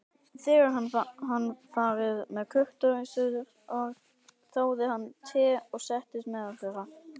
Þegar hann hafði farið með kurteisisorð þáði hann te og settist meðal þeirra.